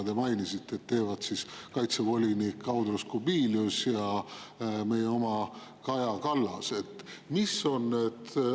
Te mainisite, et seda teevad kaitsevolinik Andrius Kubilius ja meie oma Kaja Kallas.